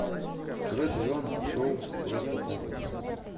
второй сезон шоу просто так